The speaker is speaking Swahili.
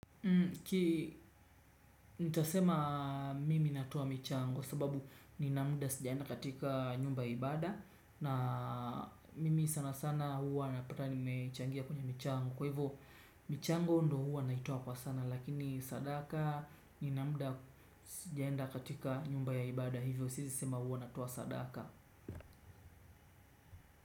Ki, nitasema mimi natowa michango sababu nina muda sijaenda katika nyumba ya ibada na mimi sana sana huwa napata nimechangia kwenye michango kwa hivo michango ndo huwa naitoa kwa sana, lakini sadaka nina muda sijaenda katika nyumba ya ibada hivo siwezi sema huwa natoa sadaka.